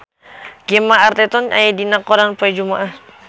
Gemma Arterton aya dina koran poe Jumaah